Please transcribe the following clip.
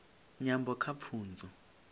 nyambo kha pfunzo